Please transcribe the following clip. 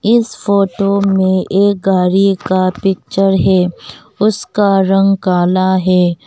इस फोटो में एक गाड़ी का पिक्चर है उसका रंग काला है।